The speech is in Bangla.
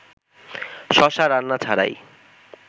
শশা রান্না ছাড়াই